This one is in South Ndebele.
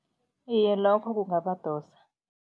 Iye, lokho kungabadosa.